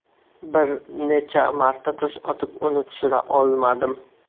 Bir necha marta tosh otib uni tushira olmadim.